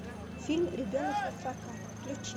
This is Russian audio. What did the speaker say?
фильм ребенок напрокат включи